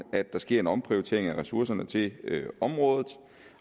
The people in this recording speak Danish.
at der sker en omprioritering af ressourcerne til området